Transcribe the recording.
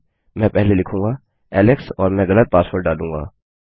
मैं पहले लिखूँगा एलेक्स और मैं गलत पासवर्ड डालूँगा